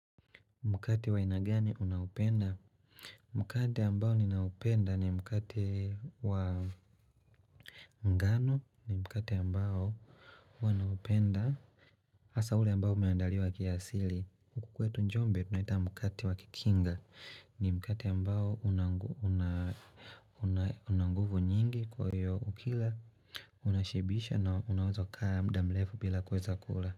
Mkate wa aina gani unaopenda? Mkate ambao ninaopenda ni mkate wa ngano ni mkate ambao wanaupenda hasa ule ambao umeandaliwa kiasili kwetu njombe tunaita mkati wakikinga ni mkate ambao unanguvu nyingi kwa hiyo ukila Unashibisha na unawezoa kaa muda mrefu bila kuweza kula.